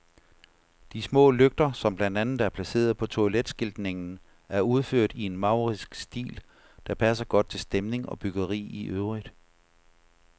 De små lygter, som blandt andet er placeret på toiletskiltningen, er udført i en maurisk stil, der passer godt til stemning og byggeri i øvrigt.